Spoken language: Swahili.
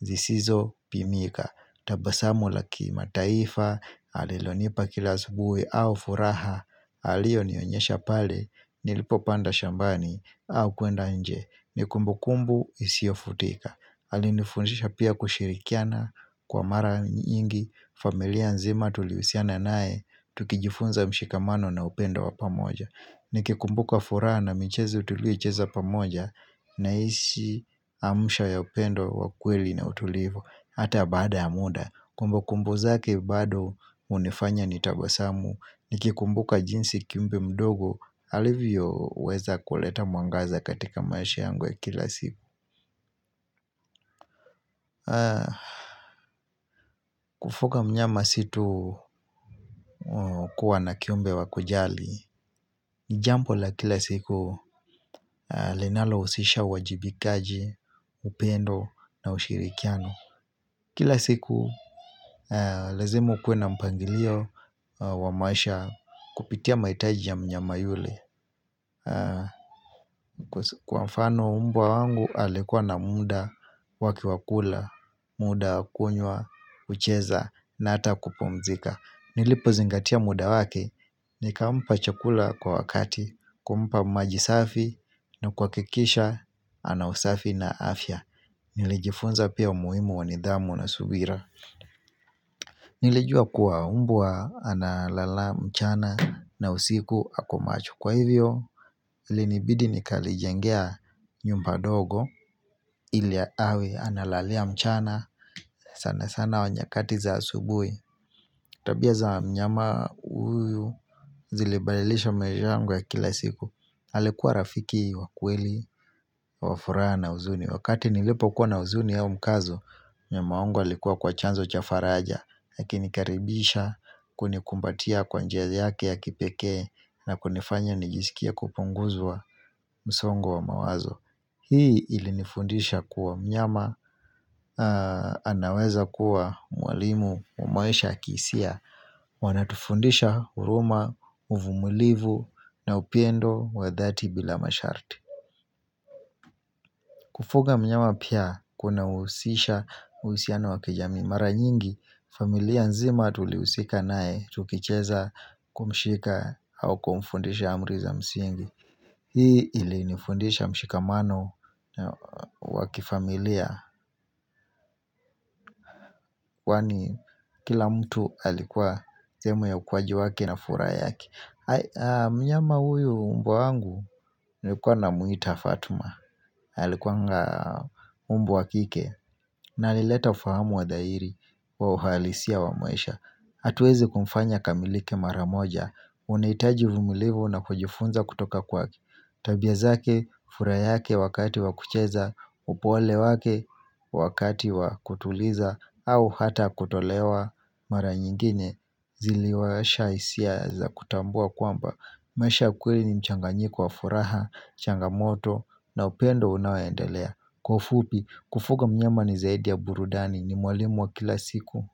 zisizo pimika tabasamu lakimataifa alilonipa kila asubuhi au furaha alionionyesha pale nilipo panda shambani au kuenda nje nikumbu kumbu isio futika aliinifundisha pia kushirikiana kwa mara nyingi familia nzima tulihusiana naye tukijifunza mshikamano na upendo wa pamoja nikikumbuka fura na michezo tuliyo icheza pamoja Naishi maamsho ya upendo wa kweli na utulivu ata baada ya muda kumbukumbu zake bado hunifanya nitabasamu nikikumbuka jinsi kiumbe mdogo alivyoweza kuleta mwangaza katika maisha yangu ya kila siku. Kufuga mnyama si tu kuwa na kiumbe wa kujali. Jambo la kila siku linalohusisha uajibikaji, upendo na ushirikiano. Kila siku lazima ukuwe na mpangilio wa maisha kupitia mahitaji ya mnyama yule. Kwa mfani mbwa wangu alikuwa na muda wake wa kula. Muda wa kunywa, kucheza na hata kupumzika nilipozingatia muda wake. Nikampa chakula kwa wakati, kumpa maji safi na kuhakikisha ana usafi na afya. Nilijifunza pia umuhimu wa nidhamu na subira. Nilijua kuwa mbwa analala mchana na usiku ako macho kwa hivyo. Ilinibidi nikalijengea nyumba ndogo ili awe analalila mchana na sanasana nyakati za asubuhi. Tabia za mnyama huyu zilibadilisha maisha yangu ya kila siku alikuwa rafiki wa kweli. Wa furaha na huzuni wakati nilipokuwa na huzuni ama mkazo mnyama wangu alikuwa kwa chanzo cha faraja akinikaribisha na kunikumbatia kwa njia yake ya kipekee na kunifanya nijiskie kupunguzwa na msongo wa mawazo. Hii ilinifundisha kuwa mnyama anaweza kuwa mwalimu kwa maisha ya kihisia wanatufundisha huruma, uvumilivu na upendo wa dhati bila masharti. Kufuga mnyama pia kunahusisha uhusiano wa kijamii, mara nyingi familia nzima tulihusika naye kumshika au kumfundisha amri za msingi. Hii ilinifundisha mshikamano wa kifamilia. Kwani kila mtu alikuwa sehemu ya ukuaji wake na furaha yake. Mnyama huyu mbwa wangu nilikuwa namuita Fatma alikuwanga. Mbwa wa kike na alileta ufahamu wa dhahiri kwa uhalisia wa maisha hatuwezi kumfanya akamilike mara moja unahitaji uvumilivu na kujifunza kutoka kwake, tabia zake, furaha yake wakati wa kucheza, upole wake. Wakati wa kutuliza au hata kutolewa mara nyingine Iliwaasha hisia za kutambua kwamba maisha kweli ni mchanganyiko wa furaha changamoto na upendo unao endelea kwa ufupi kufuga mynama ni zaidi ya burudani ni mwalimu wa kila siku.